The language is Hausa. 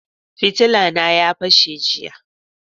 Fitilla na a fashe jiya